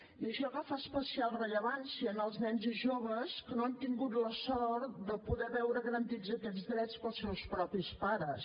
i això agafa especial rellevància en els nens i joves que no han tingut la sort de poder veure garantits aquests drets pels seus propis pares